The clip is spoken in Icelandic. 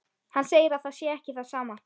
Hann segir að það sé ekki það sama.